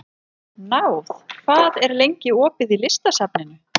Náð, hvað er lengi opið í Listasafninu?